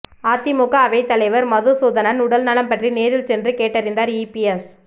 அதிமுக அவைத்தலைவர் மதுசூதனன் உடல்நலம் பற்றி நேரில் சென்று கேட்டறிந்தார் இபிஎஸ்